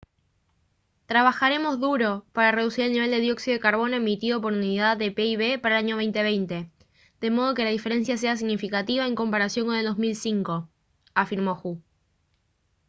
«trabajaremos duro para reducir el nivel de dióxido de carbono emitido por unidad de pib para el año 2020 de modo que la diferencia sea significativa en comparación con el 2005» afirmó hu